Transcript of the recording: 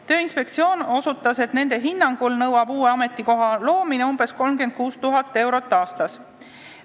Tööinspektsiooni hinnangul nõuab uue ametikoha loomine umbes 36 000 eurot aastas.